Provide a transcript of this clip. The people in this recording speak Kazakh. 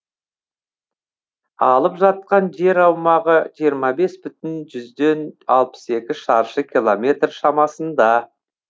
алып жатқан жер аумағы жиырма бес бүтін жүзден алпыс екі шаршы километр шамасында